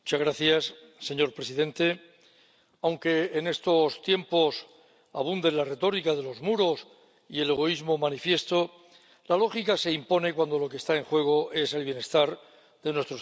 Señor presidente, aunque en estos tiempos abunden la retórica de los muros y el egoísmo manifiesto, la lógica se impone cuando lo que está en juego es el bienestar de nuestros ciudadanos.